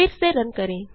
फिर से रन करें